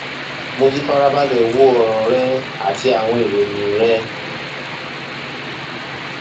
mo ti farabalẹ wo ọràn rẹ àti àwọn ìròyìn rẹ